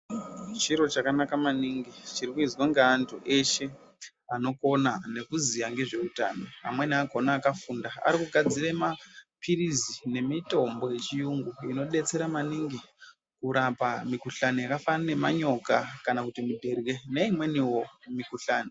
Chiro chakanaka maningi chiro chiri kuizwa nge antu eshe anokona ne kuziya ngezve utano amweni akona akafunda ari kugadzire mapirizi ne mitombo ye chiyungu ino detsera maningi kurapa mi kuhlani yaka fanana ne manyoka kana kuti muterye ne imweniwo mi kuhlani.